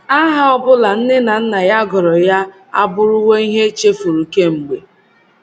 Aha ọ bụla nne na nna ya gụrụ ya abụrụwo ihe e chefuru kemgbe.